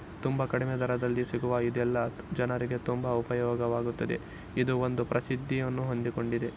ತುಂಬಾ ಕಡಿಮೆ ದರದಲ್ಲಿ ಸಿಗುವ ಇದೆಲ್ಲ ಜನರಿಗೆ ತುಂಬಾ ಉಪಯುಗವಾಗುತ್ತದೆ ಇದು ಒಂದು ಪ್ರಸಿದಿಯನ್ನು ಹೊಂದಿಕೊಂಡಿದೆ .